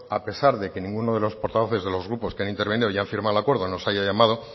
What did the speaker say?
a pesar de que ninguno de los portavoces de los grupos que han intervenido y han firmado el acuerdo nos haya llamado